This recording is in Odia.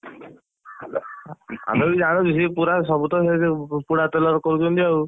ଆମେ ବି ଜାଣୁଛୁ ସିଏ ପୁରା ସବୁ ତ ସେଇଯୋଉ ପୋଡା ତେଲରେ କରୁଛନ୍ତି ଆଉ।